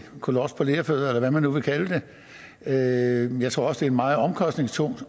kolos på lerfødder eller hvad man nu vil kalde det jeg tror også en meget omkostningstung